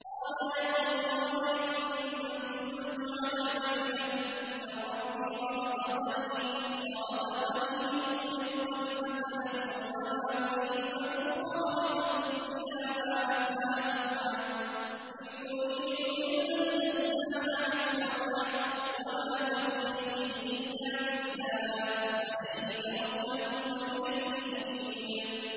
قَالَ يَا قَوْمِ أَرَأَيْتُمْ إِن كُنتُ عَلَىٰ بَيِّنَةٍ مِّن رَّبِّي وَرَزَقَنِي مِنْهُ رِزْقًا حَسَنًا ۚ وَمَا أُرِيدُ أَنْ أُخَالِفَكُمْ إِلَىٰ مَا أَنْهَاكُمْ عَنْهُ ۚ إِنْ أُرِيدُ إِلَّا الْإِصْلَاحَ مَا اسْتَطَعْتُ ۚ وَمَا تَوْفِيقِي إِلَّا بِاللَّهِ ۚ عَلَيْهِ تَوَكَّلْتُ وَإِلَيْهِ أُنِيبُ